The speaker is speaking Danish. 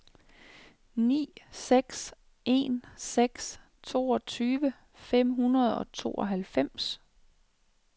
ni seks en seks toogtyve fem hundrede og tooghalvfems